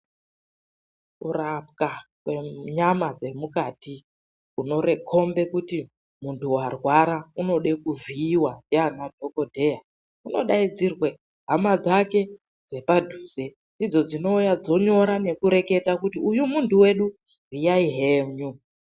Kurapwa kwenyama dzemukati kunokombe kuti muntu warwara unode kuvhiiwa ndiana dhokodheya unodaidzirwe hama dzake dzepadhuze ndidzo dzinouya dzonyora nekureketa kuti ,"Uyu munhu wedu vhiyai henyu."